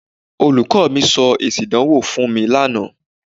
Olùkọ́ mi sọ èsì ìdánwò fún mi laana.